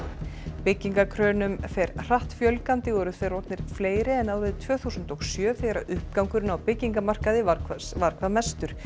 byggingarkrönum fer hratt fjölgandi og eru þeir orðnir fleiri en árið tvö þúsund og sjö þegar uppgangurinn á byggingamarkaði var hvað var hvað mestur